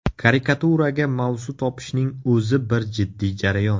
Karikaturaga mavzu topishning o‘zi bir jiddiy jarayon.